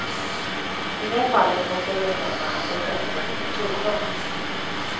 I det fallet måste jag erkänna att jag känner mig lite kluven.